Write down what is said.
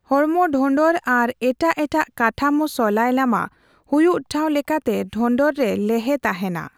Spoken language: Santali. ᱦᱚᱲᱢᱚ ᱰᱷᱚᱸᱰᱚᱨ ᱟᱨ ᱮᱴᱟᱜ ᱮᱴᱟᱜ ᱠᱟᱴᱷᱟᱢᱳ ᱥᱩᱞᱟᱭ ᱞᱟᱢᱟ; ᱦᱩᱭᱩᱜ ᱴᱷᱟᱣ ᱞᱮᱠᱟᱛᱮ ᱰᱷᱚᱸᱰᱚᱨ ᱨᱮ ᱞᱮᱦᱮ ᱛᱟᱦᱮᱸᱱᱟ ᱾